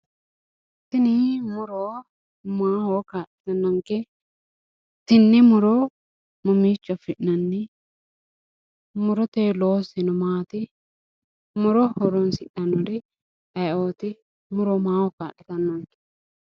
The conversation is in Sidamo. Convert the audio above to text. Tini muro maaho kaa'lanonke, tene muro mamicho afi'nanni ,murohu loosiseno maati ,muro horonsidhanori ayiioti, muro maaho kaa'littanonke